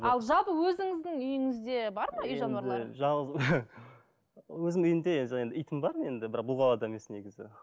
ал жалпы өзіңіздің үйіңізде бар ма үй жануарлары өзімнің үйімде жаңағы итім бар енді бірақ бұл қалада емес негізі